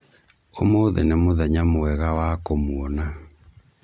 ũmũthĩ nĩ mũthenya mwega wa kũmuona